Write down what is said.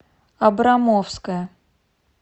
абрамовская